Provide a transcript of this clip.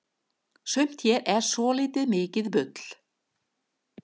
sumt hérna er svoltið mikið bull